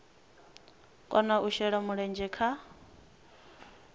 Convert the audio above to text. kona u shela mulenzhe kha